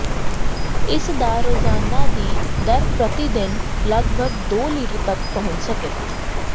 ਇਸ ਦਾ ਰੋਜ਼ਾਨਾ ਦੀ ਦਰ ਪ੍ਰਤੀ ਦਿਨ ਲਗਭਗ ਦੋ ਲੀਟਰ ਤੱਕ ਪਹੁੰਚ ਸਕੇ